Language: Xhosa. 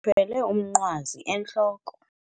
Uthwele umnqwazi entloko.